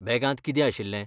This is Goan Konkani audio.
बॅगांत कितें आशिल्लें?